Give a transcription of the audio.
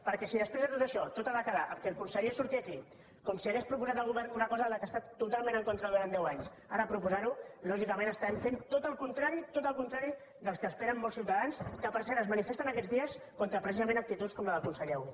perquè si després de tot això tot ha de quedar en el fet que el conseller surti aquí com si hagués proposat al govern una cosa de la qual ha estat totalment en contra durant deu anys ara proposar ho lògicament fem tot el contrari tot el contrari del que esperen molts ciutadans que per cert es manifesten aquests dies contra precisament actituds com la del conseller avui